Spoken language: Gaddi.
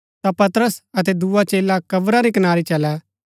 ता पतरस अतै दुआ चेला कब्रा री कनारी चलै